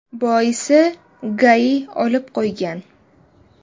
Boisi, ‘GAI’ olib qo‘ygan.